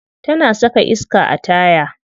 Tana saka iska a taya.